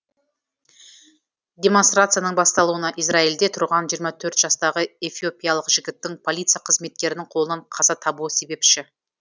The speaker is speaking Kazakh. демонстрацияның басталуына израильде тұрған жиырма төрт жастағы эфиопиялық жігіттің полиция қызметкерінің қолынан қаза табуы себепші